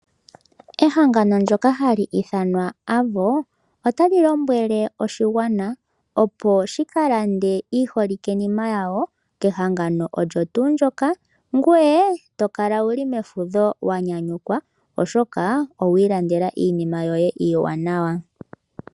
Ehangono ndjoka hali ithanwa Avo, ota li lombwele oshigwana opo shi kalande iiholike-nima yawo kehangano olyo tuu ndjoka, ngwee tokala wu li mefudho wanyanyukwa oshoka owu ilandela iinima yoye iiwanawa.